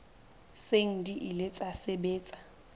seng di ile tsa sebetsa